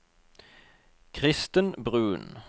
Kristen Bruun